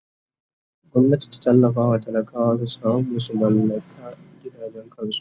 Gwamnati ta tallafawa talakawa su samu su mallaka gidajen kansu!